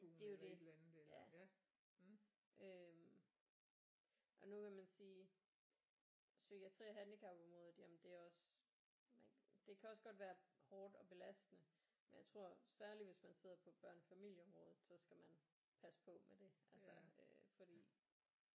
Det er jo det ja øh og nu kan man sige psykiatri og handicapområdet jamen det er også det kan også godt være hårdt og belastende men jeg tror særligt hvis man sidder på børn og familieområdet så skal man passe på med det altså fordi